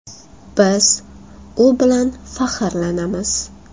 Biz u bilan faxrlanamiz.